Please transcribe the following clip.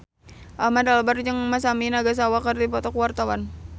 Ahmad Albar jeung Masami Nagasawa keur dipoto ku wartawan